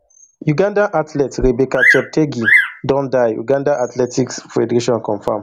ugandan athlete rebecca cheptegei don die uganda athletics federation confam